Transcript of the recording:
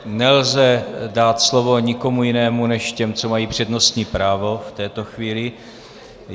Nelze dát slovo nikomu jinému než těm, co mají přednostní právo v této chvíli.